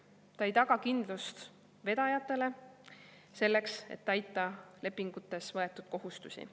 See ei taga kindlust vedajatele, selleks et täita lepingutes võetud kohustusi.